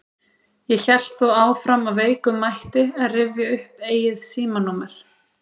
Ég hélt þó áfram af veikum mætti að rifja upp eigið símanúmer.